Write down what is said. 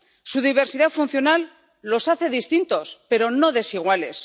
Su diversidad funcional los hace distintos, pero no desiguales